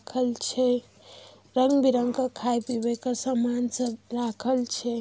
खल छे रंग बिरंगा खाय पिबे सामान सब राखेल छे।